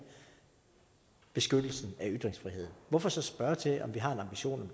beskyttelsen af ytringsfriheden hvorfor så spørge til om vi har en ambition om